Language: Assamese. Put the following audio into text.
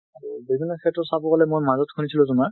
বিভিন্ন ক্ষেত্ৰত চাব গলে, মই মাজত শুনিছিলোঁ তোমাৰ।